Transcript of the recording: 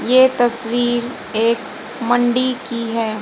ये तस्वीर एक मंडी की है।